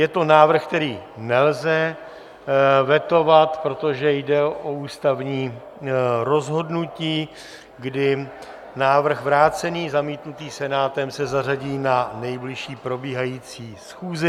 Je to návrh, který nelze vetovat, protože jde o ústavní rozhodnutí, kdy návrh vrácený, zamítnutý Senátem, se zařadí na nejbližší probíhající schůzi.